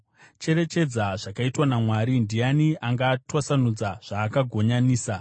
Cherechedza zvakaitwa naMwari: Ndiani angatwasanudza zvaakagonyanisa?